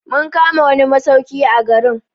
Mun kama wani masauki a garin.